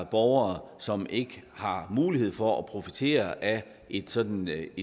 borgere som ikke har mulighed for at profitere af et sådant